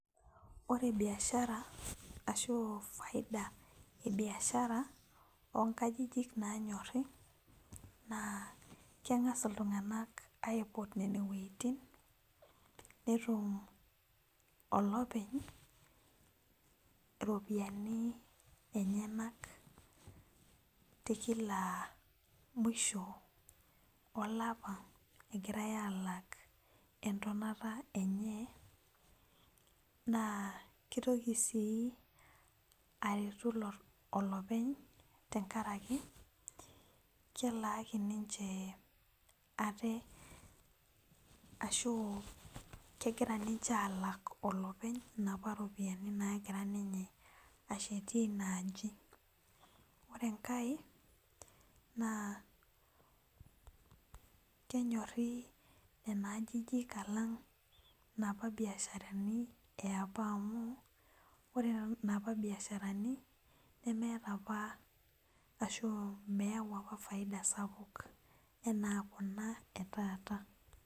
Ore biashara ashu faida ebiashara onkajijik nanyori na keng'as ltung'anak aiput nona wuejitin netum olopeny iropiyiani enyenak tekila mwisho olapa egirai alak entonata enye na kitoki si aretu olopeny' tebkaraki kegira nche alak olopeny tenkaraki naapa ropiyani nagira ninye ashieti inaaji ore enkae na kenyori nona ajijik alang' naapa biasharani eapa amu ore naapa biasharani nemeeta apa ashu meyau faida sapuk ena kuna etata